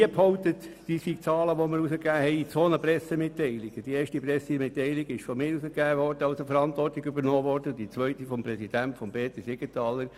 Für die erste Pressemitteilung habe ich die Verantwortung übernommen, für die zweite der Präsident, Grossrat Siegenthaler.